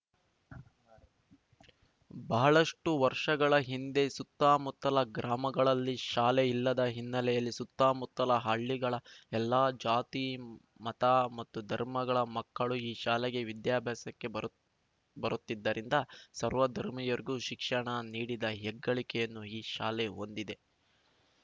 ಬಹಳಷ್ಟುವರ್ಷಗಳ ಹಿಂದೆ ಸುತ್ತಮುತ್ತಲ ಗ್ರಾಮಗಳಲ್ಲಿ ಶಾಲೆಯಿಲ್ಲದ ಹಿನ್ನೆಲೆಯಲ್ಲಿ ಸುತ್ತಮುತ್ತಲ ಹಳ್ಳಿಗಳ ಎಲ್ಲ ಜಾತಿ ಮತ ಮತ್ತು ಧರ್ಮಗಳ ಮಕ್ಕಳೂ ಈ ಶಾಲೆಗೆ ವಿದ್ಯಾಭ್ಯಾಸಕ್ಕೆ ಬರು ಬರುತ್ತಿದ್ದರಿಂದ ಸರ್ವಧರ್ಮಿಯರಿಗೂ ಶಿಕ್ಷಣ ನೀಡಿದ ಹೆಗ್ಗಳಿಕೆಯನ್ನು ಈ ಶಾಲೆ ಹೊಂದಿದೆ